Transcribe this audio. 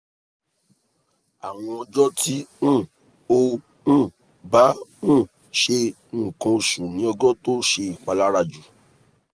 awọn ọjọ ti um o um ba um se nkan osu ni ojo to se ipalara ju